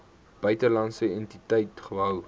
buitelandse entiteit gehou